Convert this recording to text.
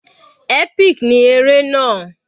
Epic ní eré náà.